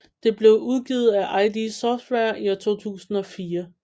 Det blev udgivet af id Software i 2004